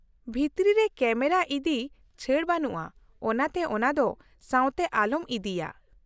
-ᱵᱷᱤᱛᱨᱤ ᱨᱮ ᱠᱮᱢᱮᱨᱟ ᱤᱫᱤ ᱪᱷᱟᱹᱲ ᱵᱟᱹᱱᱩᱜᱼᱟ, ᱚᱱᱟᱛᱮ ᱚᱱᱟ ᱫᱚ ᱥᱟᱶᱛᱮ ᱟᱞᱚᱢ ᱤᱫᱤᱭᱟ ᱾